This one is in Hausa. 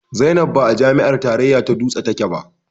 Zainab ba a jami'ar tarayya ta dutse take ba